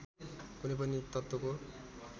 कुनै पनि तत्त्वको